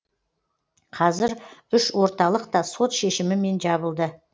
қазір үш орталық та сот шешімімен жабылды